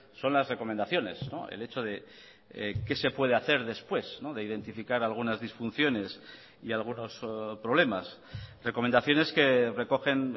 son las recomendaciones el hecho de qué se puede hacer después de identificar algunas disfunciones y algunos problemas recomendaciones que recogen